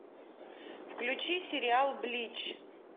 включи сериал блич